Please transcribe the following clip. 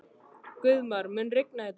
Guðmar, mun rigna í dag?